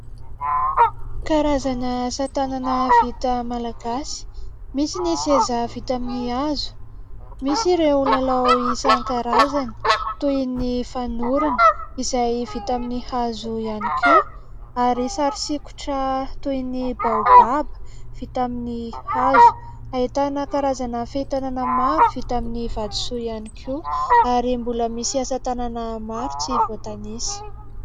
Karazana asa tanana vita malagasy. Misy ny seza vita amin'ny hazo, misy ireo lalao isan-karazany toy ny fanorona izay vita amin'ny hazo ihany koa ary sary sikitra toy ny baobaba vita amin'ny hazo. Ahitana karazana fehitanana maro vita amin'ny vatosoa ihany koa ary mbola misy asa tanana maro tsy voatanisa.